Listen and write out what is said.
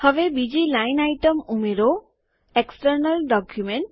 હવે બીજી line item ઉમેરો એક્સટર્નલ ડોક્યુમેન્ટ